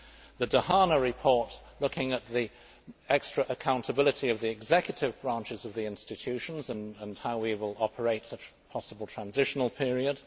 the Dehaene report looking at the extra accountability of the executive branches of the institutions and how we will operate a possible transitional period